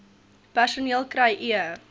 personeel kry e